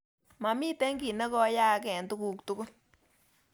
Mamiten kiiy negoyaak eng tuguk tugul